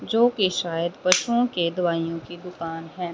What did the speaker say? जोकि शायद बच्चों के दवाइयों की दुकान है।